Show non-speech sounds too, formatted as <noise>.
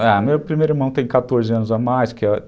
Ah, o meu primeiro irmão tem quatorze anos a mais que <unintelligible>